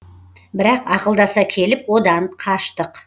бірақ ақылдаса келіп одан қаштық